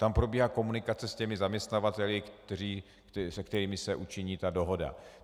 Tam probíhá komunikace s těmi zaměstnavateli, se kterými se učiní ta dohoda.